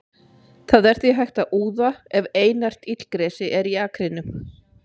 það er því hægt að úða ef einært illgresi er í akrinum